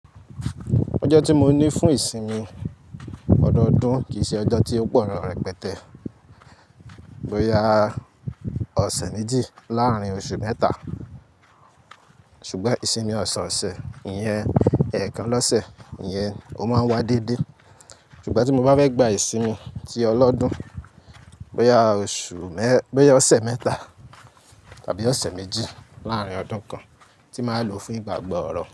Ọjọ́ tí mo ní fún ìsinmi ọdọọdún kì í ṣe ọjọ́ tí ó pọlọ rẹpẹtẹ. Boya ọ̀sẹ̀ méjì láàárín oṣù mẹ́ta. Ṣùgbọ́n ìsinmi ọ̀sọ̀ọ̀sẹ̀ yẹn, ẹ̀ẹ̀kan lọ́sẹ̀ yẹn ó máa ń wá déédé. Ṣùgbọ́n tí mo bá fẹ́ gba ìsinmi tí ọlọ́dún, bóyá ọ̀sẹ̀ mẹ́ta tàbí ọ̀sẹ̀ méjì láàárín ọdún kan tí màá lò fún ìgbàgbọ ọ̀rọ̀.